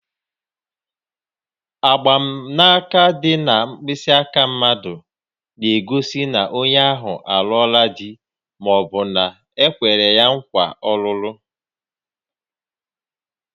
Mgbanaka ịdị na mkpịsị aka mmadụ na-egosi na onye ahụ alụọla di ma ọ bụ na-ekwere ya nkwa ọlụlụ